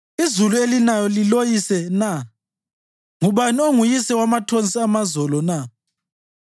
Izulu elinayo liloyise na? Ngubani onguyise wamathonsi amazolo na?